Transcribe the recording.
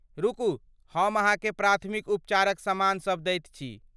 रुकू, हम अहाँके प्राथमिक उपचारक समान सभ दैत छी।